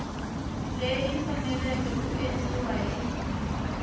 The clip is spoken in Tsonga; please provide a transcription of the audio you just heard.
leyi faneleke ku endliwa hi